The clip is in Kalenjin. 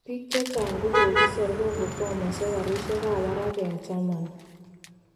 Bik chechang kokokisor kokokwamoso garishek kap barak eng Charmany